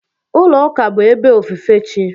Ulo Ụka bụ ebe ofufe chi.